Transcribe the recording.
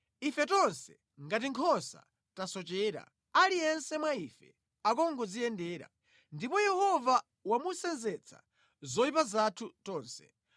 Ife tonse, ngati nkhosa, tasochera, aliyense mwa ife akungodziyendera; ndipo Yehova wamusenzetsa zoyipa zathu zonse.